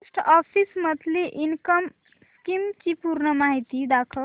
post office monthly income scheme ची पूर्ण माहिती दाखव